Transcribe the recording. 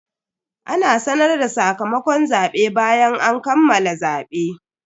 Ana sanar da sakamakon zabe bayan an kammala zabe.